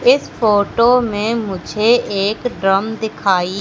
इस फोटो में मुझे एक ड्रम दिखाई --